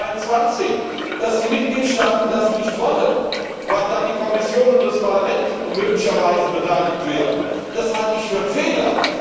122. Dass die Mitgliedstaaten das nicht wollen, weil dann die Kommission und das Parlament möglicherweise beteiligt werden, das halte ich für einen Fehler.